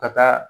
Ka taa